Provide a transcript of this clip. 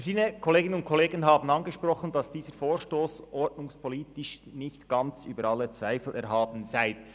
Verschiedene Kolleginnen und Kollegen haben angesprochen, dass dieser Vorstoss ordnungspolitisch nicht ganz über alle Zweifel erhaben sei.